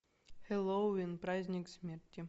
хэллоуин праздник смерти